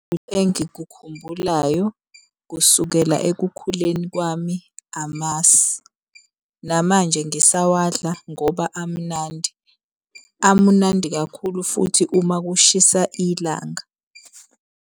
Engikukhumbulayo kusukela ekukhuleni kwami amasi, namanje ngisawadla ngoba amnandi. Amunandi kakhulu futhi uma kushisa ilanga.